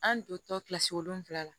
An dontɔ kilasi wolonfila la